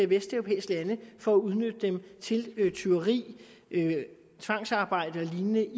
vesteuropæiske lande for at udnytte dem til tyveri tvangsarbejde og lignende